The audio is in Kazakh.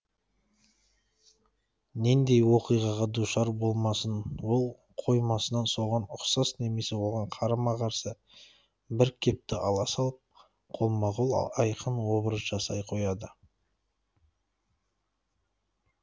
нендей оқиғаға душар болмасын ол қоймасынан соған ұқсас немесе оған қарама қарсы бір кепті ала салып қолма қол айқын образ жасай қояды